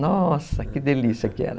Nossa, que delícia que era.